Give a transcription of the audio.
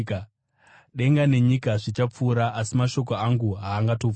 Denga nenyika zvichapfuura asi mashoko angu haangatongopfuuri.